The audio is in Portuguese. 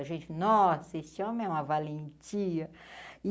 A gente, nossa, esse homem é uma valentia.